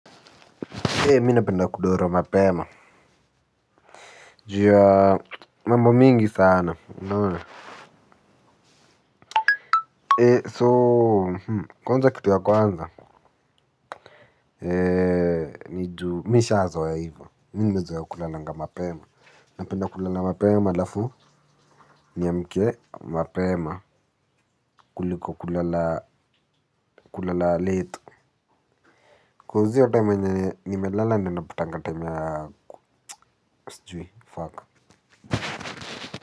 Mi napenda kudoro mapema. Ju ya mambo mingi sana unaona so mmh kwanza kitu ya kwanza. Mi nishazoea ivo. Mimi nimezoea kulalanga mapema. Napenda kulala mapeema alafu niamke mapema kuliko kulala late Koz iyo time yenye nimelala ndo napatanga time ya sijui.